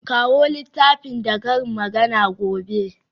Kawo littafin da karin magana gobe.